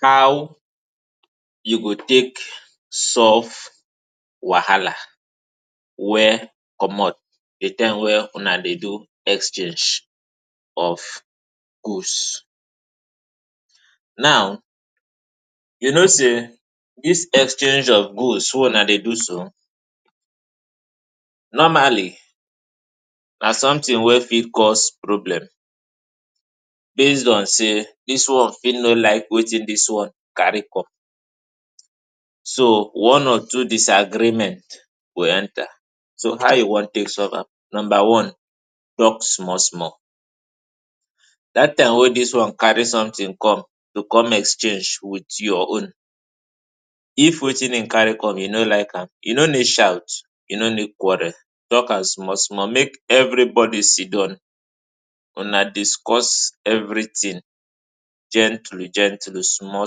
How you go tek solve wahala wey comot di time wey una dey do exchange of goods Now, you know sey dis exchange of goods wey una dey do so normally na sometin wey fit cause problem base on sey, dis one fit no like wetin dis one carry come. So, one or two disagreement go enter, so, how you wan tek solve am? Number one, talk small small. Dat time wey dis one carry sometin come, to come exchange wit your own, if wetin e carry come you no like am, you no need shout, you no need quarrel, talk am small small mek everybody sitdown, una discuss everytin, gently gently, small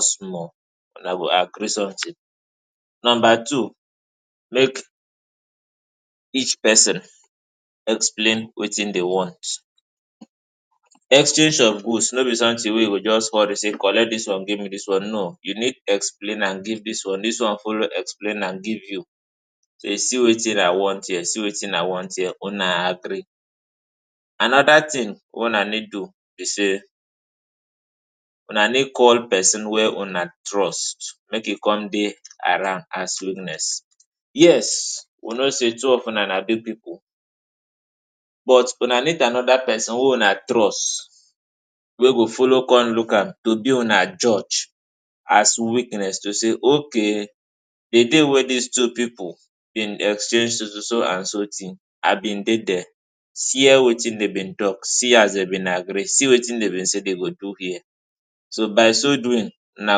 small, una go agree sometin. Number two, mek each person explain wetin dey want. Exchange of goods no be sometin wey you go just come dey sey collect dis one give me dis one, no, you need explain na give dis one, dis one follow explain am give you, sey see wetin I wan here, see wetin I want here, una agree. Anoda tin wey una need do be sey, una need call person wey una trust mek e come dey around as witness. Yes, we know sey two of una na big pipu, but una need anoda person who una trust wey go follow come look am to be una judge as witness to say ok, di day wey dis two pipu be exchange so so so and so tin, I bin dey dier. See here wetin dem be talk, see as dem be agree, see wetin dem be sey dem go do here, so, by so doing una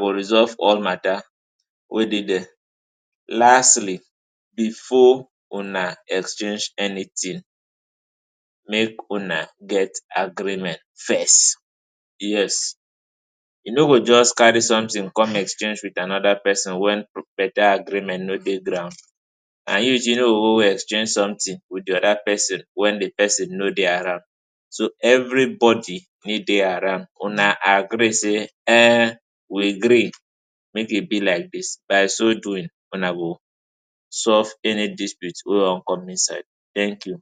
go resolve all mata wey dey dere. Lastly, before una exchange anytin, mek una get agreement first. Yes, you no go just carry sometin come exchange wit anoda person, wen pro beta agreement nor dey ground and you too you no go go exchange sometin wit di oda person wey di person nor dey around. So, everybody need dey around, una agree sey um, we gree mek e be like dis by so doing una go solve any dispute wey wan come inside. Thank you.